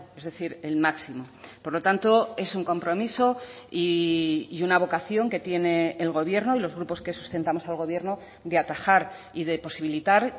es decir el máximo por lo tanto es un compromiso y una vocación que tiene el gobierno y los grupos que sustentamos al gobierno de atajar y de posibilitar